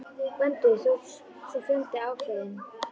GVENDUR: Þú ert svo fjandi ákveðinn.